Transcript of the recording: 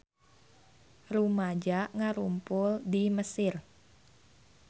Rumaja ngarumpul di Mesir